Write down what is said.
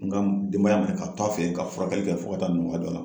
N ka denbaya minɛ ka to a fɛ yen ka furakɛli kɛ fo ka taa nɔgɔya don a la .